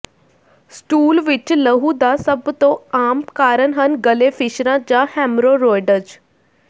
stool ਵਿਚ ਲਹੂ ਦਾ ਸਭ ਤੋਂ ਆਮ ਕਾਰਨ ਹਨ ਗਲੇ ਫਿਸ਼ਰਾਂ ਜਾਂ ਹੈਮਰੋਰੋਇਡਜ਼